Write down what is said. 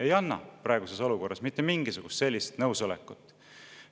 Ei anna praeguses olukorras mitte mingisugust sellist nõusolekut.